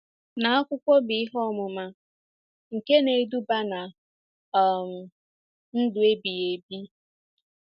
na akwụkwọ bụ́ Ihe Ọmụma nke Na-eduba ná um Ndụ Ebighị Ebi.